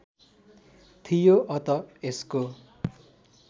थियो अत यसको